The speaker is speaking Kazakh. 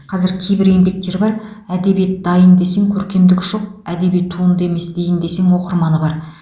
қазір кейбір еңбектер бар әдебиет дайын десең көркемдігі жоқ әдеби туынды емес дейін десең оқырманы бар